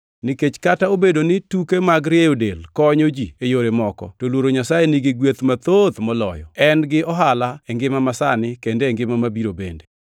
Nikech kata obedo ni tuke mag rieyo del konyo ji e yore moko, to luoro Nyasaye nigi gweth mathoth moloyo, en gi ohala e ngima masani kendo e ngima mabiro bende.